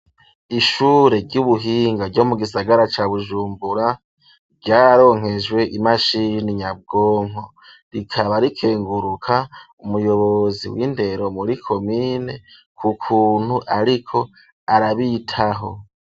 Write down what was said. Ishure ry'ubuhinga ryo mu gisagara ca bujumbura ryaronkejwe imashini nyabwonko rikaba rikenguruka umuyobozi w'indero muri komine ku kuntu ariko arabitaho.